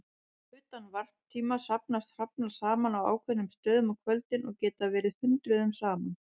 Utan varptíma safnast hrafnar saman á ákveðnum stöðum á kvöldin og geta verið hundruðum saman.